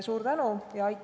Suur tänu!